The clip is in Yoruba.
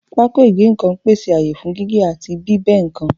Pákó ìgé nǹkan ń pèsè ààyè fún gígé àti bí ẹ́ nǹkan